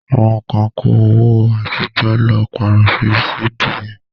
Àwọn kan kó owó àtijọ́ lọ pàrọ̀ ní Sí-Bi-Ẹ̀n.